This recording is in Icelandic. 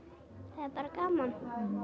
það er bara gaman